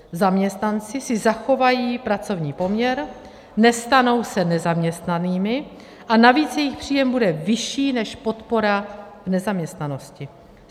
Zaměstnanci si zachovají pracovní poměr, nestanou se nezaměstnanými a navíc jejich příjem bude vyšší než podpora v nezaměstnanosti.